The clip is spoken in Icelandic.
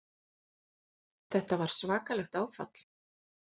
Þetta var svakalegt áfall.